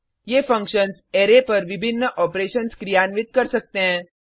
ये functions array पर विभिन्न ऑपरेशन्स क्रियान्वित कर सकते हैं